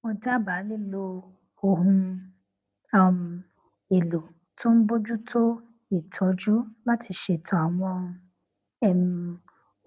mo dábàá lílo ohun um èlò tó n bojútó ìtọjú láti lè ṣètò àwọn um